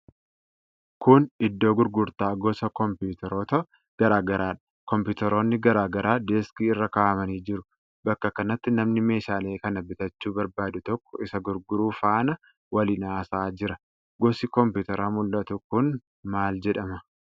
Kun iddoo gurgurtaa gosa komipitaroota garaa garaadha. kompiitaroonni garaa garaa deeskii irra kaa'amanii jiru. Bakka kanatti namni meeshaalee kana bitachuu barbaadu tokko isa gurguru faana waliin haasa'aa jira. Gosi kompiitaraa mul'atu kun maal jedhama?